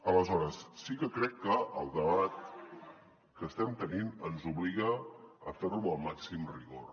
aleshores sí que crec que el debat que estem tenint ens obliga a fer lo amb el màxim rigor